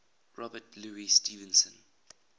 robert louis stevenson